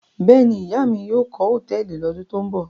Bẹ́ẹ̀ ni, ìyá mi yóò kọ́ hòtẹ́ẹ́lì lọ́dún tó ń bọ̀.